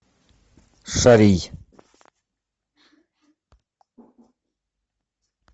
шарий